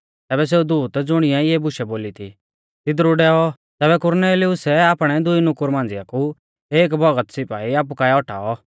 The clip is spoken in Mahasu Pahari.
तैबै सेऊ दूत ज़ुणिऐ इऐ बुशै बोली थी तिदरु डैऔ तैबै कुरनेलियुसै आपणै दुई नुकुरु मांझ़िआ कु एक भौगत सिपाई आपु काऐ औटाऔ